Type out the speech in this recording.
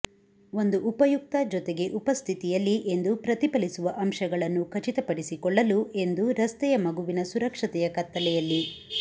ಒಂದು ಉಪಯುಕ್ತ ಜೊತೆಗೆ ಉಪಸ್ಥಿತಿಯಲ್ಲಿ ಎಂದು ಪ್ರತಿಫಲಿಸುವ ಅಂಶಗಳನ್ನು ಖಚಿತಪಡಿಸಿಕೊಳ್ಳಲು ಎಂದು ರಸ್ತೆಯ ಮಗುವಿನ ಸುರಕ್ಷತೆಯ ಕತ್ತಲೆಯಲ್ಲಿ